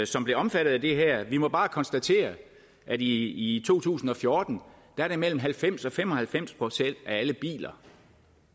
som blev omfattet af det her vi må bare konstatere at i to tusind og fjorten er det mellem halvfems og fem og halvfems procent af alle biler